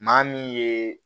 Maa min ye